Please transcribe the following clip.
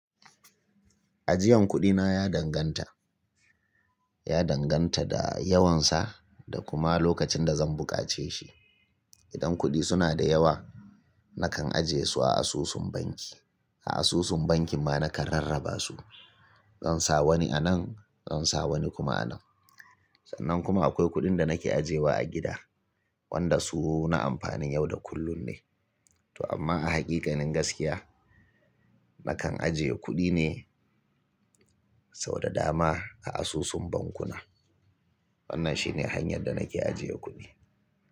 Ajiyan kuɗi na ya danganta, ya danganta da yawansa da kuma lokacin da zan buƙace shi. Idan kuɗi suna da yawa nakan ajiye su a asusun banki. A asusun banki ma nakan rarraba su. Zan sa wani anan, zan sa wani kuma anan. Sannan kuma akwai kuɗin da nake ajiyewa a gida, wanda su na amfanin yau da kullun ne. To amma a hakikanin gaskiya, nakan ajiye kuɗi ne sau da dama a asusun bankuna. Wannan shi ne hanyar da nake ajiyewa kuɗi.